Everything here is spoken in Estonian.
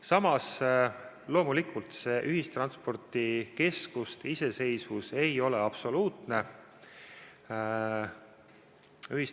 Samas, loomulikult see ühistranspordikeskuste iseseisvus ei ole absoluutne.